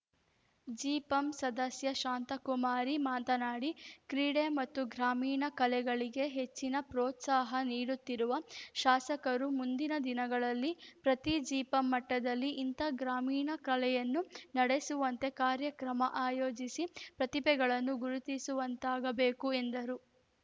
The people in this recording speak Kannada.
ಜಿಪಂ ಸದಸ್ಯ ಶಾಂತಕುಮಾರಿ ಮಾತನಾಡಿ ಕ್ರೀಡೆ ಮತ್ತು ಗ್ರಾಮೀಣ ಕಲೆಗಳಿಗೆ ಹೆಚ್ಚಿನ ಪ್ರೋತ್ಸಹ ನೀಡುತ್ತಿರುವ ಶಾಸಕರು ಮುಂದಿನ ದಿನಗಳಲ್ಲಿ ಪ್ರತಿ ಜಿಪಂ ಮಟ್ಟದಲ್ಲಿ ಇಂಥ ಗ್ರಾಮೀಣ ಕಲೆಯನ್ನು ನಡೆಸುವಂತ ಕಾರ್ಯಕ್ರಮ ಆಯೋಜಿಸಿ ಪ್ರತಿಭೆಗಳನ್ನು ಗುರುತಿಸುವಂತಾಗಬೇಕು ಎಂದರು